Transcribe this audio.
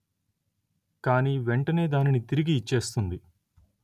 కాని వెంటనే దానిని తిరిగి ఇచ్చేస్తుంది